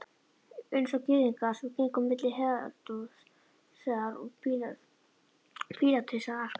Einsog Gyðingar sem gengu á milli Heródesar og Pílatusar arkaði